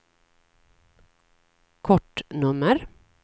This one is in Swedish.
kortnummer